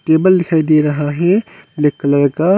Table दिखाई दे रहा है ब्लैक कलर का।